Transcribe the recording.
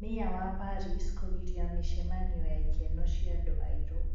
Meya wa Paris 'kũgiria' mecemanio ya ikeno cia andũ airũ.